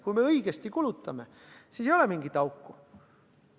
Kui me õigesti kulutame, siis ei ole mingit auku.